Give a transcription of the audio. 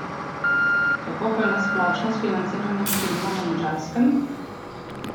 Kako pa je na splošno s financiranjem filma na Madžarskem?